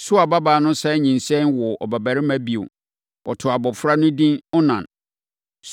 Sua babaa no sane nyinsɛneeɛ woo ɔbabarima bio. Wɔtoo abɔfra no edin Onan.